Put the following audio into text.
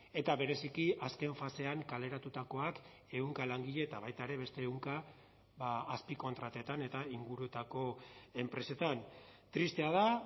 eta bereziki azken fasean kaleratutakoak ehunka langile eta baita ere beste ehunka azpikontratetan eta inguruetako enpresetan tristea da